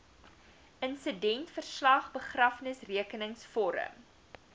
insidentverslag begrafnisrekenings vorm